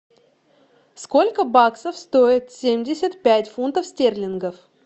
сколько баксов стоит семьдесят пять фунтов стерлингов